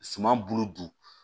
Suma bolo don